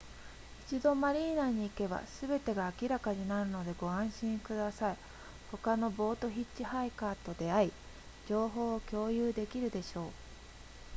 一度マリーナに行けばすべてが明らかになるのでご安心ください他のボートヒッチハイカーと出会い情報を共有できるでしょう